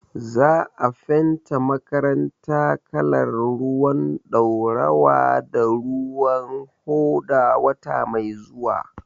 Za a fenta makaranta kalar ruwan ɗaurawa da ruwan hoda wata mai zuwa.